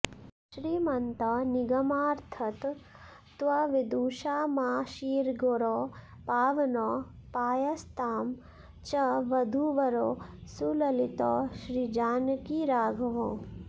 श्रीमन्तौ निगमार्थतत्त्वविदुषामाशीर्गिरौ पावनौ पायास्तां च वधूवरौ सुललितौ श्रीजानकीराघवौ